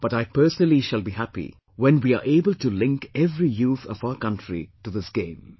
But I personally shall be happy when we are able to link every youth of our country to this game